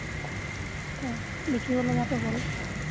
অ, লিখিব লগাতো হল। উম